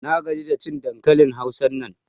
Na gaji da cin dankalin Hausan nan.